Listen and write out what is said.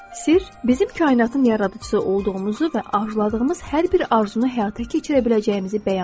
Sirr bizim kainatın yaradıcısı olduğumuzu və arzuladığımız hər bir arzunu həyata keçirə biləcəyimizi bəyan edir.